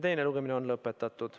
Teine lugemine on lõpetatud.